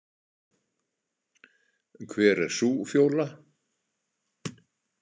Hver er sú Fjóla?